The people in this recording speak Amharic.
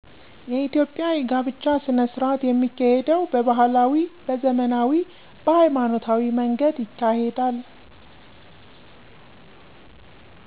የኢትዮጵያ የጋብቻ ሥነሥርዓት የሚካሄደው በባህላዊ፣ በዘመናዊ፣ በሀይማኖታዊ መንገድ ይካሄዳል